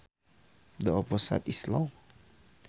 The opposite is long